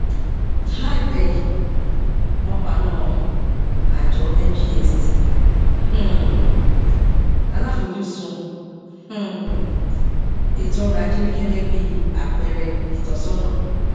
láìpé yìí wọn paná àjọ ngx tí um aláfojúsùn um ètò ọrọajé rí gẹgẹ bí àpẹẹrẹ ìtọsọnà